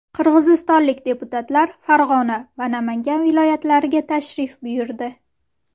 Qirg‘izistonlik deputatlar Farg‘ona va Namangan viloyatlariga tashrif buyurdi.